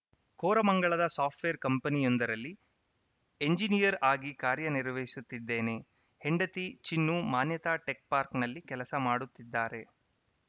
ಕೋರಮಂಗಲದ software ಕಂಪನಿಯೊಂದರಲ್ಲಿ engineer ಆಗಿ ಕಾರ್ಯನಿರ್ವಹಿಸುತ್ತಿದ್ದೇನೆ ಹೆಂಡತಿ ಚಿನ್ನು ಮಾನ್ಯತಾ ಟೆಕ್‌ ಪಾರ್ಕ್ನಲ್ಲಿ ಕೆಲಸ ಮಾಡುತ್ತಿದ್ದಾರೆ